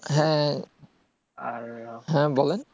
হ্যাঁ হ্যাঁ বলেন